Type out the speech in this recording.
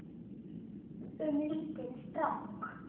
Um lítinn strák.